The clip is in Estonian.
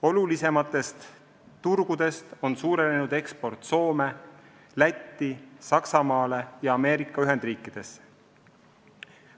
Olulisematest turgudest on suurenenud eksport Soome, Lätti, Saksamaale ja Ameerika Ühendriikidesse.